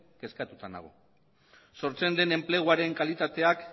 kezkatuta nago sortzen den enpleguaren kalitateak